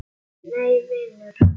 Nei vinur.